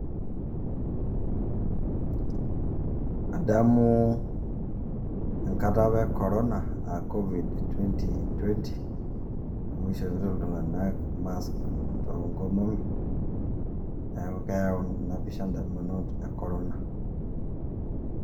adamu enkata apa e korona a COVID 2020 amu ishopito iltung'anak mask to nkomomi, neeku keyau ina pisha ndamunot e korona.